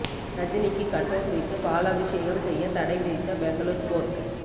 ரஜினிக்கு கட்அவுட் வைத்து பாலாபிஷேகம் செய்ய தடை விதித்த பெங்களூர் கோர்ட்